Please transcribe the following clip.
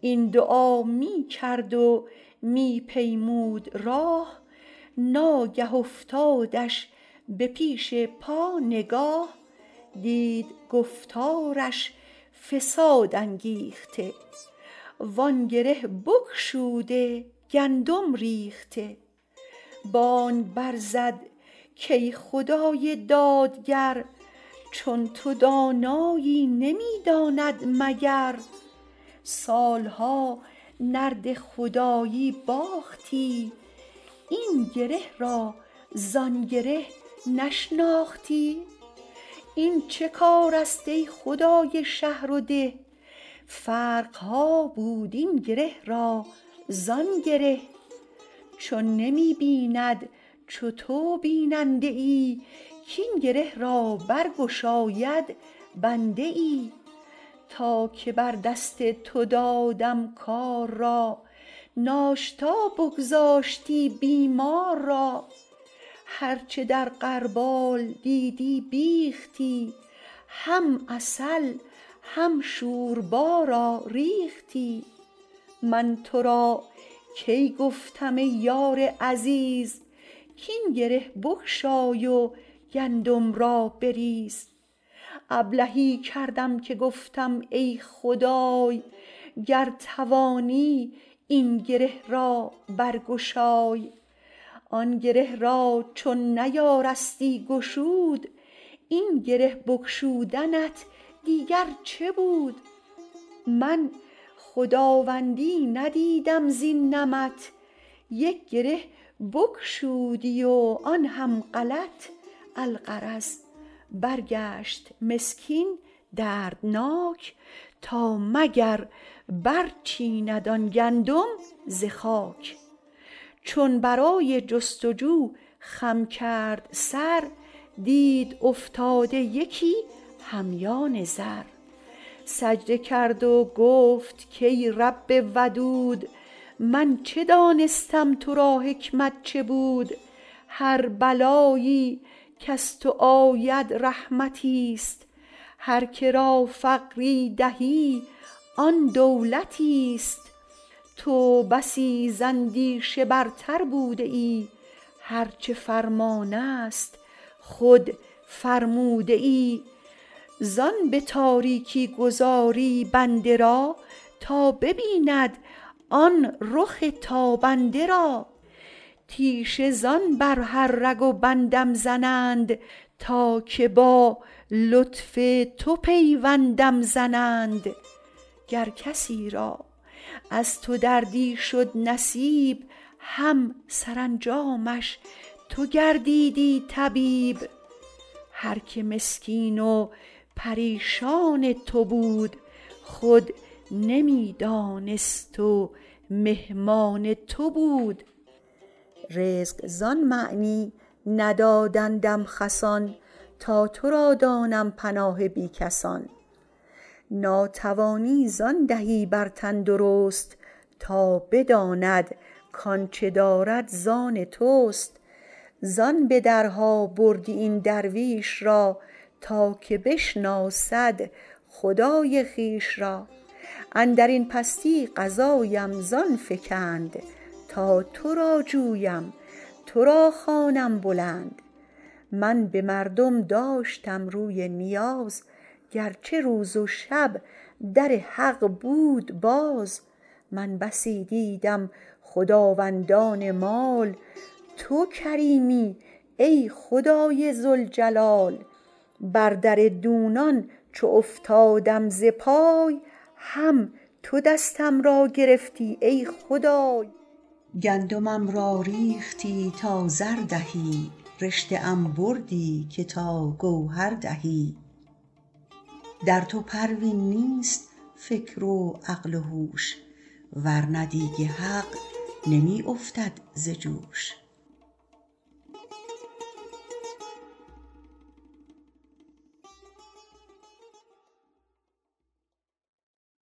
این دعا می کرد و می پیمود راه ناگه افتادش به پیش پا نگاه دید گفتارش فساد انگیخته وآن گره بگشوده گندم ریخته بانگ بر زد که ای خدای دادگر چون تو دانایی نمی داند مگر سال ها نرد خدایی باختی این گره را زان گره نشناختی این چه کار است ای خدای شهر و ده فرق ها بود این گره را زان گره چون نمی بیند چو تو بیننده ای کاین گره را برگشاید بنده ای تا که بر دست تو دادم کار را ناشتا بگذاشتی بیمار را هرچه در غربال دیدی بیختی هم عسل هم شوربا را ریختی من تو را کی گفتم ای یار عزیز کاین گره بگشای و گندم را بریز ابلهی کردم که گفتم ای خدای گر توانی این گره را برگشای آن گره را چون نیارستی گشود این گره بگشودنت دیگر چه بود من خداوندی ندیدم زین نمط یک گره بگشودی و آن هم غلط الغرض برگشت مسکین دردناک تا مگر برچیند آن گندم ز خاک چون برای جستجو خم کرد سر دید افتاده یکی همیان زر سجده کرد و گفت کای رب ودود من چه دانستم تو را حکمت چه بود هر بلایی کز تو آید رحمتی است هر که را فقری دهی آن دولتی است تو بسی زاندیشه برتر بوده ای هرچه فرمان است خود فرموده ای زان به تاریکی گذاری بنده را تا ببیند آن رخ تابنده را تیشه زان بر هر رگ و بندم زنند تا که با لطف تو پیوندم زنند گر کسی را از تو دردی شد نصیب هم سرانجامش تو گردیدی طبیب هر که مسکین و پریشان تو بود خود نمی دانست و مهمان تو بود رزق زان معنی ندادندم خسان تا تو را دانم پناه بی کسان ناتوانی زان دهی بر تندرست تا بداند کآنچه دارد زان توست زان به درها بردی این درویش را تا که بشناسد خدای خویش را اندرین پستی قضایم زان فکند تا تو را جویم تو را خوانم بلند من به مردم داشتم روی نیاز گرچه روز و شب در حق بود باز من بسی دیدم خداوندان مال تو کریمی ای خدای ذوالجلال بر در دونان چو افتادم ز پای هم تو دستم را گرفتی ای خدای گندمم را ریختی تا زر دهی رشته ام بردی که تا گوهر دهی در تو پروین نیست فکر و عقل و هوش ورنه دیگ حق نمی افتد ز جوش